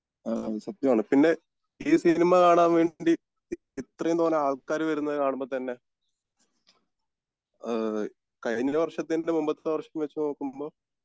അഹമ് സത്യമാണ് പിന്നെ ഈ സിനിമ കാണാൻ വേണ്ടി ഇത്രേം തോനെ ആൾകാർ വരുന്നത് കാണുമ്പോ തന്നെ ഈഹ് കഴിഞ്ഞ വർഷത്തിൻ്റെ മുമ്പത്തെ വർഷം വെച്ച് നോക്കുമ്പോ